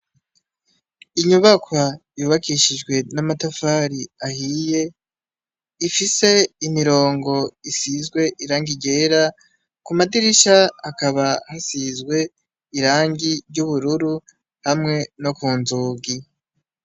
Inyubakwa yubakishijwe n'amatafari ahiye. Ifise imirongo isizwe irangi ryera. Ku madirisha hakaba hasizwe irangi ry'ubururu hamwe no ku nzugi.